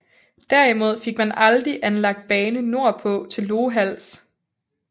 Derimod fik man aldrig anlagt bane nordpå til Lohals